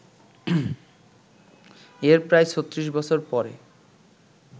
এর প্রায় ৩৬ বছর পরে